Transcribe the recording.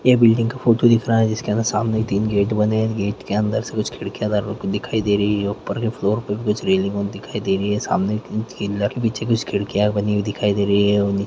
ये बिल्डिंग का फोटो दिख रहा हैं जिसके अंदर सामने तीन गेट बने है गेट के अंदर से कुछ खिड़कियाँ दर दिखाई दे रही हैं ऊपर के फ्लोर पर कुछ रेलिंग दिखाई दे रही है सामने कुछ खिड़कियाँ बनी हुई दिखाई दे रही है।